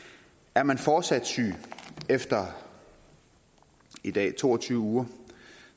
er man fortsat syg efter i dag to og tyve uger